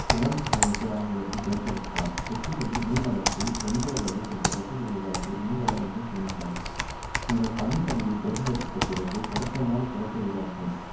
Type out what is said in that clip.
குளம் அமைப்பு ஆகியவற்றை தேர்ந்தெடுக்கலாம் தொட்டிகளில் மீன் வளர்ப்பில் ஒன்று அல்லது சில தொட்டிகளை உருவாக்கி மீன்களை அங்கே சேமிக்கவும் உங்கள் பண்ணைப் பகுதியைத் தேர்ந்தெடுத்த பிறகு பொருத்தமான குளத்தை உருவாக்கவும்